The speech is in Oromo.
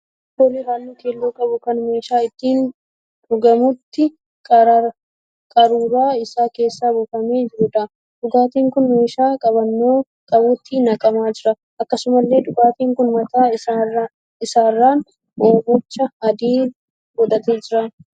Dhugaatii alkoolii halluu keelloo qabu kan meeshaa ittiin dhugamutti qaruuraa isaa keessaa buufama jiruudha. Dhugaatiin kun meeshaa qabannoo qabutti naqamaa jira. Akkasumallee dhugaatiin kun mataa isaarraan oomacha adii godhatee jira.